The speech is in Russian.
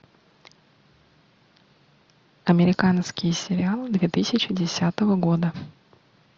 американский сериал две тысячи десятого года